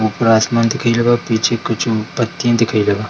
ऊपर आसमान दिखेएले बा पीछे कुछु पत्ती देखएले बा।